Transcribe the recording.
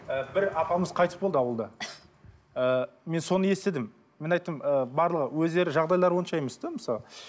і бір апамыз қайтыс болды ауылда ыыы мен соны естідім мен айттым ы барлығы өздері жағдайлары онша емес те мысалы